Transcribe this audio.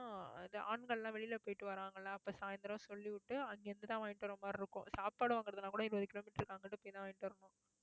ஆஹ் இது ஆண்கள் எல்லாம் வெளியில போயிட்டு வராங்களா அப்ப சாயந்தரம் சொல்லி விட்டு, அங்கிருந்துதான் வாங்கிட்டு வர்ற மாதிரி இருக்கும். சாப்பாடு வாங்குறதுன்னா கூட, இருபது கிலோமீட்டருக்கு, அங்கிட்டு போய் தான் வாங்கிட்டு வரணும்